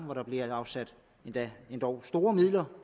hvor der bliver afsat endog store midler